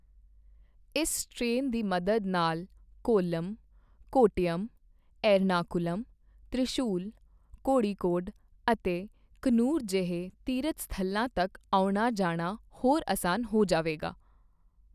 ਇਸ ਟ੍ਰੇਨ ਦੀ ਮਦਦ ਨਾਲ ਕੌਲੱਮ, ਕੋੱਟਯਮ, ਏਰਣਾਕੁਲਮ, ਤ੍ਰਿਸ਼ੂਰ, ਕੋੜੀੱਕੋਡ ਅਤੇ ਕੰਨੂਰ ਜਿਹੇ ਤੀਰਥ ਸਥਲਾਂ ਤੱਕ ਆਉਣਾ ਜਾਣਾ ਹੋਰ ਅਸਾਨ ਹੋ ਜਾਵੇਗਾ।